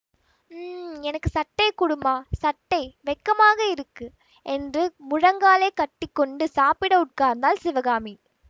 உம் எனக்கு சட்டை குடும்மா சட்டை வெக்கமாக இருக்கு என்று முழங்காலை கட்டி கொண்டு சாப்பிட உட்கார்ந்தாள் சிவகாமி